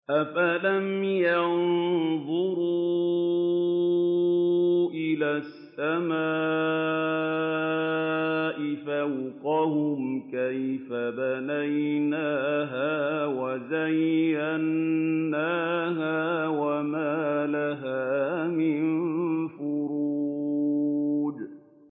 أَفَلَمْ يَنظُرُوا إِلَى السَّمَاءِ فَوْقَهُمْ كَيْفَ بَنَيْنَاهَا وَزَيَّنَّاهَا وَمَا لَهَا مِن فُرُوجٍ